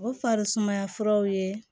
O farisumaya furaw ye